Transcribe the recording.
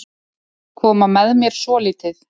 Koma með mér svolítið.